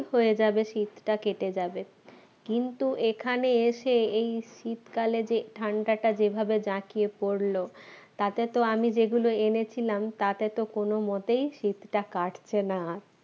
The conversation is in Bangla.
হয়ে যাবে শীতটা কেটে যাবে কিন্তু এখানে এসে এই শীতকালে যে ঠান্ডাটা যেভাবে জাঁকিয়ে পড়লো তাতে তো আমি যেগুলো এনেছিলাম তাতে তো কোনো মতেই শীতটা কাটছে না